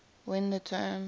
when the term